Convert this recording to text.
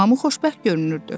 Hamı xoşbəxt görünürdü.